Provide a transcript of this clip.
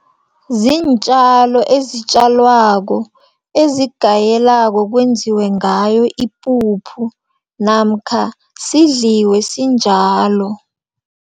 Ziintjalo ezitjalwako, ezingayelako kwenziwe ngayo ipuphu, namkha sidliwe sinjalo.